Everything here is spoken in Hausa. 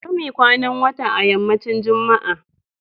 Bari muyi kwanan wata a yammacin Juma'a